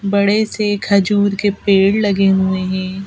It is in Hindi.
बड़े से खजूर के पेड़ लगे हुए हैं।